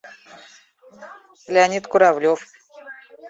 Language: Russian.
леонид куравлев